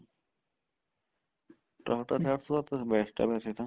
Tata ਚਾਰ ਸੋ ਸੱਤ best ਹੇ ਵੈਸੇ ਤਾਂ